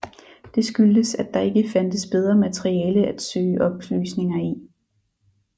Det skyldtes at der ikke fandtes bedre materiale at søge oplysninger i